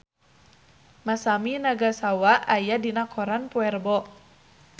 Masami Nagasawa aya dina koran poe Rebo